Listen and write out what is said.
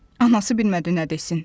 Anası bilmədi nə desin.